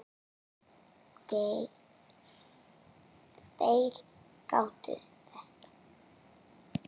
Þeir gátu þetta.